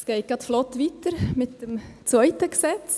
Es geht gerade flott weiter mit dem zweiten Gesetz.